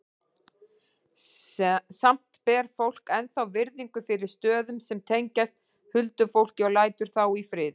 Samt ber fólk ennþá virðingu fyrir stöðum sem tengjast huldufólki og lætur þá í friði.